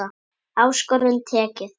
Áskorun tekið.